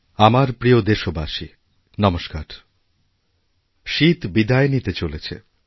আমার প্রিয় দেশবাসী নমস্কার শীত বিদায় নিতে চলেছে